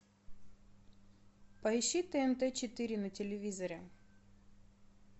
поищи тнт четыре на телевизоре